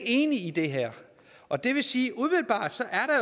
enige i det her og det vil sige